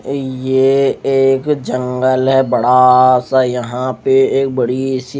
ये एक जंगल है बड़ा सा यहाँ पे एक बड़ी सी--